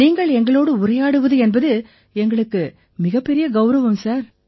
நீங்கள் எங்களோடு உரையாடுவது என்பது எங்களுக்கு மிகப் பெரிய கௌரவம் சார்